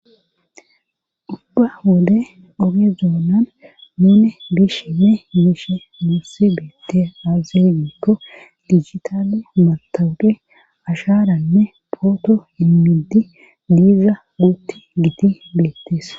Ubba wode ogezoonan muune bish ne miishe mursi beette aazenikko ligitali matawuqe asharanne pooto inmidi diiza wuutti giti beettees